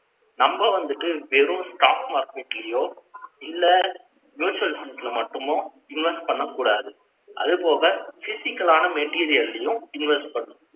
நம்ம வந்துட்டு, வெறும், stock market லயோ, இல்ல, mutual funds ல மட்டுமே, invest பண்ணக் கூடாது. அது போக அது போக, physical ஆன material ஐயும், invest பண்ணும்.